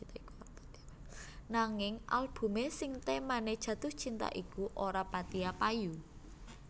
Nanging albumé sing témané Jatuh Cinta iku ora patiya payu